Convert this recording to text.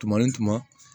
Tuma ni tuma